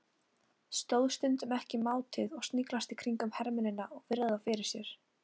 Stóðst stundum ekki mátið að sniglast í kringum hermennina og virða þá fyrir mér.